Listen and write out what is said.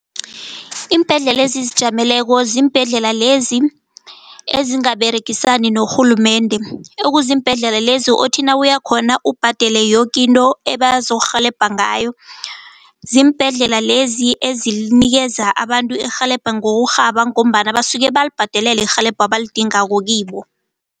Iimbhedlela ezizijameleko zimbhedlela lezi ezingaberegisani norhulumende. Ekuziimbhedlela lezi othi nawuya khona ubhadele yoke into abazokurhelebha ngayo. Ziimbhedlela lezi ezinikeza abantu irhelebho ngokurhaba ngombana basuke balibhadelela irhelebho abalidingako kibo.